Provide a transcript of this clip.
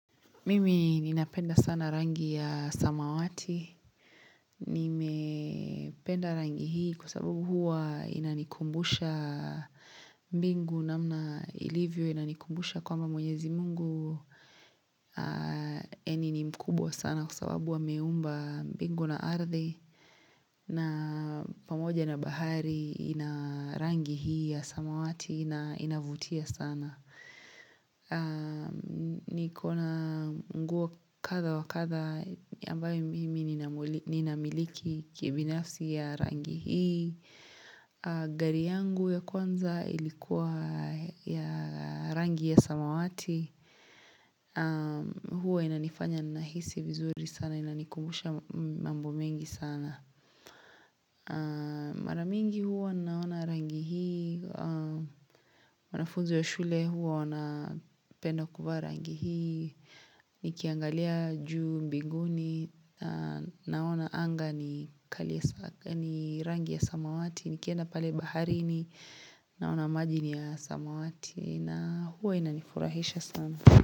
Mimi ninapenda sana rangi ya samawati, nimependa rangi hii kwa sababu huwa inanikumbusha mbingu namna ilivyo inanikumbusha kwamba mwenyezi mungu yani ni mkubwa sana kwa sababu ameumba mbingu na ardhi na pamoja na bahari ina rangi hii ya samawati na inavutia sana. Nikona nguo katha wa katha ambayo mimi ninamiliki kibinafsi ya rangi hii gari yangu ya kwanza ilikuwa ya rangi ya samawati Hua inanifanya nahisi vizuri sana Inanikumusha mambo mengi sana Maramingi huwa naona rangi hii wanafuzi wa shule huwa wana penda kuvaa rangi hii nikiangalia juu mbinguni naona anga ni rangi ya samawati, nikienda pale baharini naona maji ni ya samawati na huwa inanifurahisha sana.